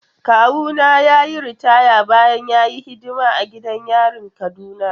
Kawuna ya yi ritaya bayan ya yi hidima a gidan yarin Kaduna.